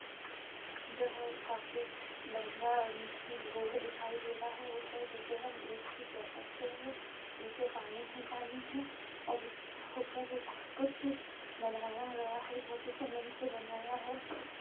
यह काफी लम्बा रोड दिखाई दे रहा है ऊपर जिसे हम ब्रिज भी कह सकते है नीचे पानी ही पानी है और ब्रिज के ऊपर एक और कुछ बनाया गया है जो कि सीमेंट से बनाया है।